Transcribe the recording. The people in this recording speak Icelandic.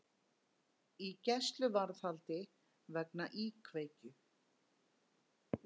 Í gæsluvarðhaldi vegna íkveikju